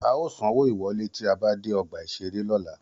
A ó sanwó ìwọ́lé tí a bá dé ọgbà-ìṣeré lọ́la